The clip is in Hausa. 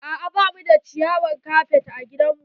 A'a ba mu da ciyawar kafet a gidan mu.